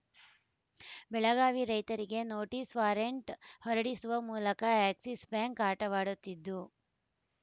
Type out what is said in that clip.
ಬೆಳಗಾವಿ ರೈತರಿಗೆ notice warrant ಹೊರಡಿಸುವ ಮೂಲಕ ಎಕ್ಸಿಸ್‌ ಬ್ಯಾಂಕ್‌ ಆಟವಾಡುತ್ತಿದ್ದು